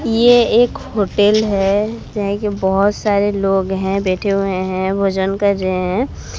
ये एक होटल है जाए की बहोत सारे लोग हैं बैठे हुए हैं भोजन कर रहे हैं।